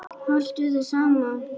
Haltu þér saman